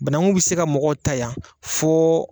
Banankun bɛ se ka mɔgɔw ta yan fɔ